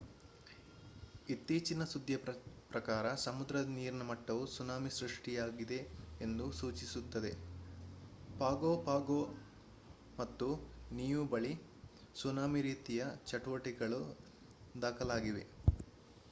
ಇತ್ತೀಚಿನ ಸುದ್ದಿಯ ಪ್ರಕಾರ ಸಮುದ್ರದ ನೀರಿನ ಮಟ್ಟವು ಸುನಾಮಿ ಸೃಷ್ಟಿಯಾಗಿದೆ ಎಂದು ಸೂಚಿಸುತ್ತದೆ ಪಾಗೊ ಪಾಗೊ ಮತ್ತು ನಿಯು ಬಳಿ ಸುನಾಮಿ ರೀತಿಯ ಚಟುವಟಿಕೆಗಳು ದಾಖಲಾಗಿವೆ